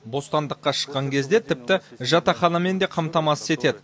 бостандыққа шыққан кезде тіпті жатақханамен де қамтамасыз етеді